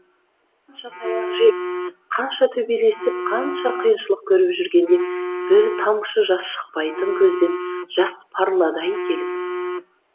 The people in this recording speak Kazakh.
қанша таяқ жеп қанша төбелесіп қанша қиыншылық көріп жүргенде бір тамшы жас шықпайтын көзден жас парлады ай келіп